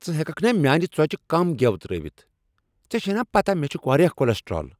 ژٕ ہیککھ نا میانہِ ژوچہِ كم گیو تر٘ٲوِتھ ؟ ژے چھے نا پتاہ مے٘ چُھ وارِیاہ كلسٹرال ؟